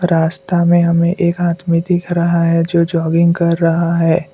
रास्ता में हमें एक आदमी दिख रहा है जो जॉगिंग कर रहा है।